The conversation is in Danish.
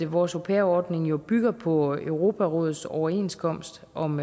vores au pair ordning jo bygger på europarådets overenskomst om